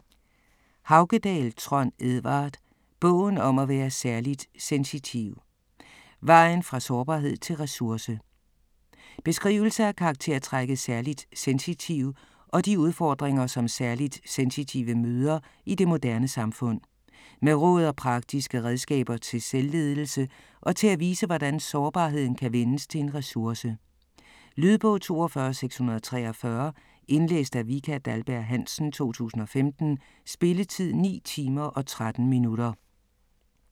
Haukedal, Trond Edvard: Bogen om at være særligt sensitiv: vejen fra sårbarhed til ressource Beskrivelse af karaktertrækket særligt sensitiv og de udfordringer som særligt sensitive møder i det moderne samfund. Med råd og praktiske redskaber til selvledelse og til at vise hvordan sårbarheden kan vendes til en ressource. Lydbog 42643 Indlæst af Vika Dahlberg-Hansen, 2015. Spilletid: 9 timer, 13 minutter.